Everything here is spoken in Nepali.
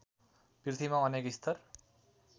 पृथ्वीमा अनेक स्तर